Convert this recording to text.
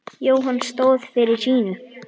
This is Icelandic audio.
Jóhann stóð fyrir sínu.